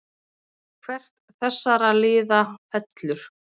Hvert þessara liða fellur?